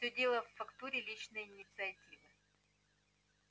всё дело в фактуре личной инициативы